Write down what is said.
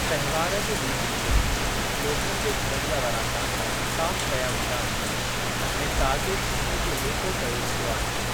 तहिवार जे ॾींहनि ते, ॻोठनि जे घरनि जा वरांडा साफ़ कया वेंदा आहिनि ऐं ताज़े छेणे जो लेपो कयो वेंदो आहे।